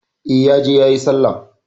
E, ya je yayi Sallah.